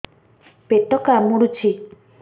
ପେଟ କାମୁଡୁଛି